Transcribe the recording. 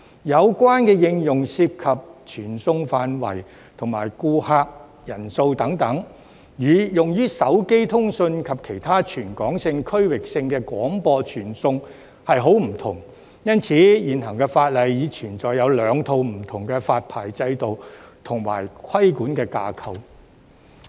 有關應用涉及傳送範圍和顧客人數等，與用於手機通訊及其他全港性、區域性的廣播傳送十分不同，因此現行法例已存在兩套不同的發牌制度和規管架構。